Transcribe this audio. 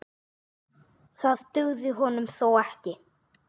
Það dugði honum þó ekki.